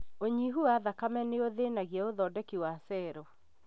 ũnyihu wa thakame nĩũthĩnagia ũthondeki wa cero